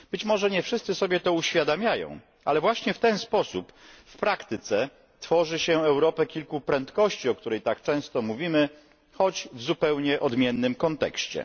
Być może nie wszyscy sobie to uświadamiają, ale właśnie w ten sposób w praktyce tworzy się Europę kilku prędkości, o której tak często mówimy, choć w zupełnie odmiennym kontekście.